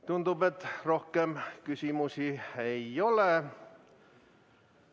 Tundub, et rohkem küsimusi ei ole.